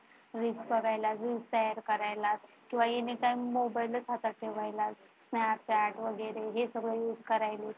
Reels बघायला, Reels तयार करायला, किंवा आणि anytime मोबाइलच हातात ठेवत किंवा Chat वगैरे हे सगळं use करायला.